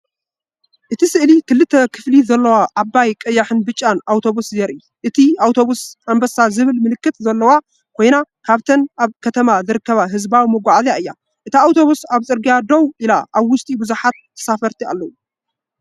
እቲ ስእሊ ክልተ ክፍሊ ዘለዋ ዓባይ ቀያሕን ብጫን ኣውቶቡስ የርኢ። እታ ኣውቶቡስ “ኣንባሳ” ዝብል ምልክት ዘለዋ ኮይና ካብተን ኣብ ከተማ ዝርከባ ህዝባዊ መጓዓዝያ እያ። እታ ኣውቶቡስ ኣብ ጽርግያ ደው ኢላ ኣብ ውሽጢ ብዙሓት ተሳፈርቲ ኣለዉ።